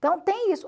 tem isso.